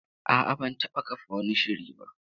A'a, ban taba kafa wani shiri ba.